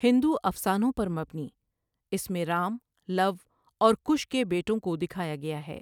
ہندو افسانوں پر مبنی، اس میں رام، لَو اور کُش کے بیٹوں کو دکھایا گیا ہے۔